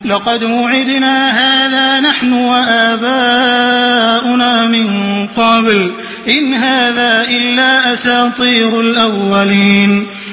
لَقَدْ وُعِدْنَا هَٰذَا نَحْنُ وَآبَاؤُنَا مِن قَبْلُ إِنْ هَٰذَا إِلَّا أَسَاطِيرُ الْأَوَّلِينَ